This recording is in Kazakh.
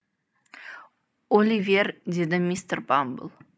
оливер деді мистер бамбл